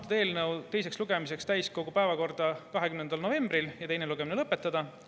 Võtta eelnõu teiseks lugemiseks täiskogu päevakorda 20. novembril ja teine lugemine lõpetada.